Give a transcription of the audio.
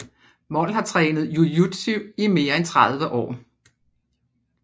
Mol har trænet jūjutsu i mere end 30 år